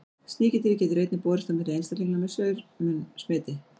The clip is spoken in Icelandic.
Sníkjudýrið getur einnig borist á milli einstaklinga með saur-munn smiti.